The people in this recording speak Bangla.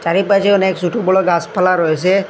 চারিপাশে অনেক ছোট বড়ো গাছপালা রয়েছে।